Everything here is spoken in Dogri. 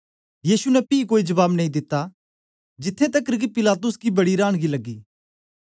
यीशु ने पी कोई जबाब नेई दिता जिथें तकर कि पिलातुस गी बड़ी रानगी लगी